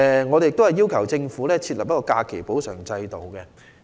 我們也要求政府設立假期補償制度。